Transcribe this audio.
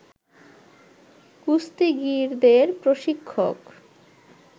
কুস্তিগীরদের প্রশিক্ষক